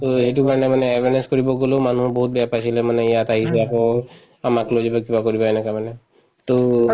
to এইটো কাৰণে মানে awareness কৰিব গলো মানুহ বহুত বেয়া পাইছিলে মানে ইয়াত আহিছো আকৌ আমাক লৈ যাব কিবা কৰিব এনেকুৱা মানে to